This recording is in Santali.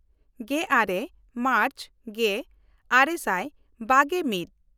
ᱜᱮᱼᱟᱨᱮ ᱢᱟᱨᱪ ᱜᱮᱼᱟᱨᱮ ᱥᱟᱭ ᱵᱟᱜᱮᱼᱢᱤᱫ